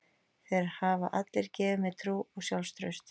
Þeir hafa allir gefið mér trú og sjálfstraust.